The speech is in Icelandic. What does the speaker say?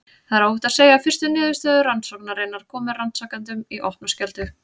Það er óhætt að segja að fyrstu niðurstöður rannsóknarinnar komu rannsakendum í opna skjöldu.